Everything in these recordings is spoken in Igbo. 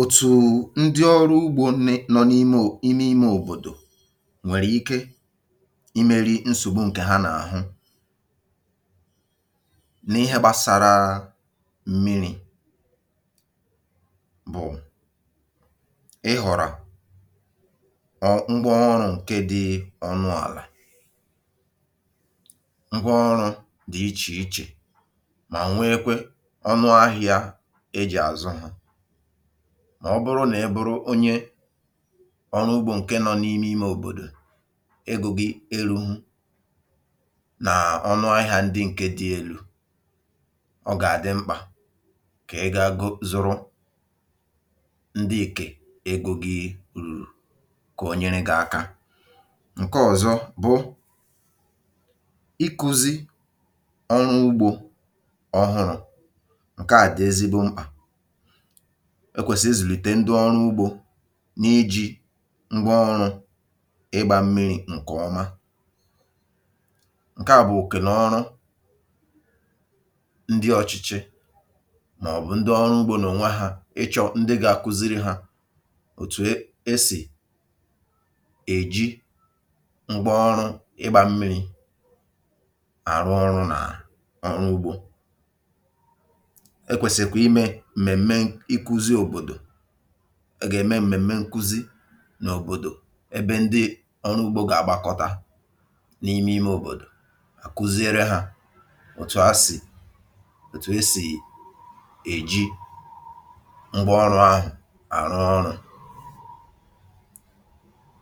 Otù ndị ọrụ ugbȯ ne nọ n’ime ime òbòdò nwèrè ike imeri nsògbu ǹkè ha n’àhụ n’ihe gbasara m̀miri̇ bụ̀ ị họ̀rọ ngwaọrụ ǹkè dị ọnụ àlà. Ngwaọrụ dị ichè ichè mà nwee kwė ọnụ ahịȧ e ji azụ ha. Ọ bụrụ nà ị bụrụ onye ọrụ ugbȯ ǹke nọ n’ime ime òbòdò, egȯ gị eruhụ ọnụ ahịȧ ndị ǹke dị elu̇, ọ gà-àdị mkpà kà ị gàa go zụrụ ndị nkè egȯ gị ru̇rụ̀ konyere gị aka. Nke ọ̀zọ bụ ịkụzi̇ ọrụ ugbȯ ọhụrụ̇. Nke a dị ezigbo mkpa, e kwèsịrị ịzụlìte ndị ọrụ ugbȯ n’iji̇ ngwa ọrụ̇ ịgbȧ mmiri̇ ǹkè ọma. Nke à bụ̀ òke nà ọrụ ndị ọ̇chị̇chị̇ màọ̀bụ̀ ndị ọrụ ugbȯ nonwe hȧ ịchọ̇ ndị ga-akụziri hȧ òtù e e sì èji ngwa ọrụ ịgbȧ mmiri̇ àrụ ọrụ̇ nà ọrụ ugbȯ. E kwesịkwara ime m̀mèm̀me ịkụzi̇ òbòdò, a gà-ème m̀mèm̀me nkụzi n’òbòdò ebe ndị ọrụ ugbȯ gà-àgbakọta n’ime ime òbòdò, à kụziere hȧ òtù asì òtù esì èji ngwa ọrụ̇ ahụ̀ àrụ ọrụ̇.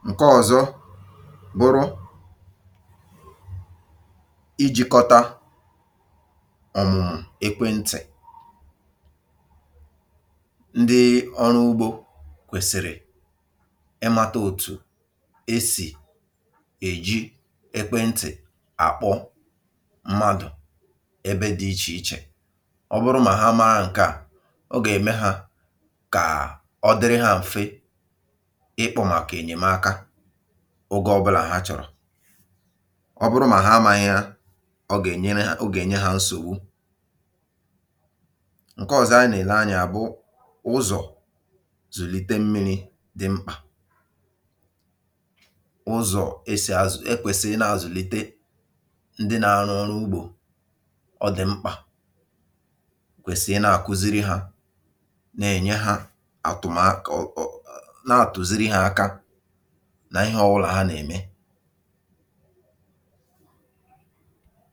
Nke ọ̀zọ bụrụ iji̇kọta ọ̀mụ̀mụ̀ ekwentị̀. Ndị ọrụ ugbȯ kwèsịrị ịmata òtù esì èji ekwentị̀ àkpọ mmadụ̀ ebe dị ichè ichè. Ọ bụrụ mà ha amaa ǹkeà, o gà-ème hȧ kà ọ dịrị ha m̀fe ịkpọ màkà ènyèmaka oge ọbụlà hà chọ̀rọ̀. Ọ bụrụ mà ha amȧhịa, ọ gà-ènyere ha o gà-ènye hȧ nsògbu. Nkọzo a na-ele anya ya bụ ụzọ̀ zụlite mmi̇ri̇ dị mkpà. Ụzọ̀ esì ekwèsịrị ịna-àzụ̀lite ndị na-arụ ọrụ ugbȯ, ọ dị̀ mkpà kwèsị ịna-àkụziri hȧ nà-ènye hȧ àtụ̀mà um nȧ-àtụ̀ziri hȧ aka nà ihe ọwụlà ha nà-ème.